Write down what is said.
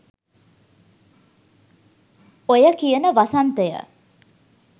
ඔය කියන වසන්තය